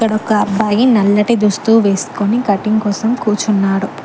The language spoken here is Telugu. ఇక్కడ ఒక అబ్బాయి నల్లటి దుస్తు వేసుకొని కటింగ్ కోసం కూర్చున్నాడు.